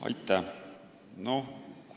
Aitäh!